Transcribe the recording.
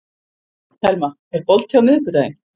Telma, er bolti á miðvikudaginn?